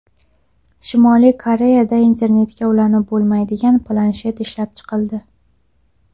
Shimoliy Koreyada internetga ulanib bo‘lmaydigan planshet ishlab chiqildi.